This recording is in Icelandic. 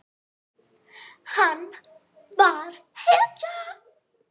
Hann var hetjan.